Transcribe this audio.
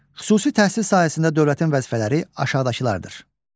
Xüsusi təhsil sahəsində dövlətin vəzifələri aşağıdakılardır.